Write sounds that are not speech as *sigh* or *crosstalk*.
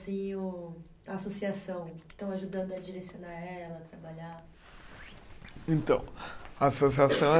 *unintelligible* A associação, que estão ajudando a direcionar ela, a trabalhar? Então, a associação